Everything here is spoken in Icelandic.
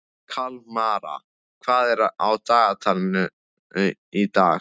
Kalmara, hvað er á dagatalinu í dag?